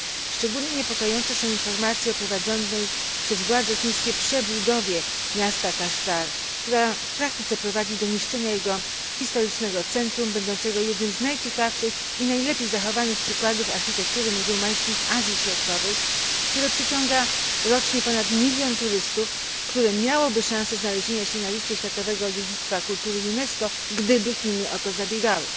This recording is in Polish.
Szczególnie niepokojące są informacje o prowadzonej przez władze chińskie przebudowie miasta Kaszgar, która w praktyce prowadzi do niszczenia jego historycznego centrum, będącego jednym z najciekawszych i najlepiej zachowanych przykładów architektury muzułmańskiej w Azji Środkowej, które przyciąga rocznie ponad milion turystów, które miałoby szansę znaleźć się na liście światowego dziedzictwa kultury UNESCO, gdyby Chiny o to zabiegały.